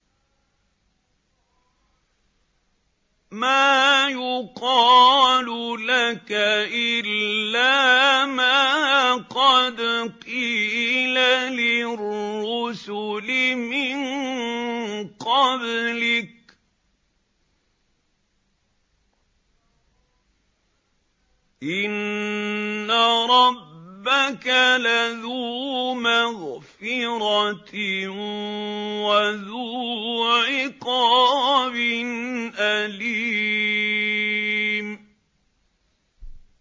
مَّا يُقَالُ لَكَ إِلَّا مَا قَدْ قِيلَ لِلرُّسُلِ مِن قَبْلِكَ ۚ إِنَّ رَبَّكَ لَذُو مَغْفِرَةٍ وَذُو عِقَابٍ أَلِيمٍ